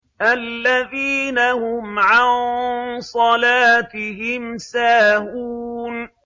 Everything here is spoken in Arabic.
الَّذِينَ هُمْ عَن صَلَاتِهِمْ سَاهُونَ